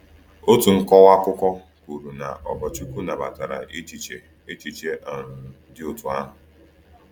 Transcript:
Otu nkọwa akụkọ kwuru na Ogorchukwu nabatara echiche echiche um dị otú ahụ.